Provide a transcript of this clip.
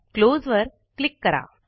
close वर click करा